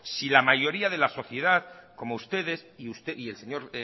si la mayoría de la sociedad como ustedes y el señor